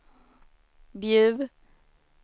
Bjuv